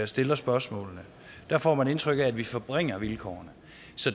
stiller spørgsmålene der får man indtryk af at vi forringer vilkårene